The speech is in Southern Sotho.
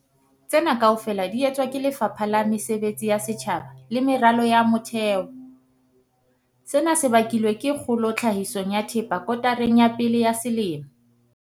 Tsena kaofela di etswa ke Lefapha la Mesebetsi ya Setjhaba le Meralo ya Motheo. Sena se bakilwe ke kgolo tlhahisong ya thepa kotareng ya pele ya selemo.